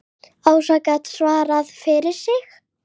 Ása gat svarað fyrir sig.